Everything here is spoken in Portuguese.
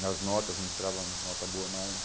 nas notas, não tirava nota boa mais.